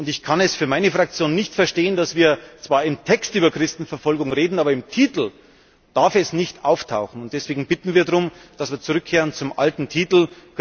Ich kann es für meine Fraktion nicht verstehen, dass wir zwar im Text über Christenverfolgung reden, es aber im Titel nicht auftauchen darf. Deswegen bitten wir darum, dass wir zurückkehren zum alten Titel.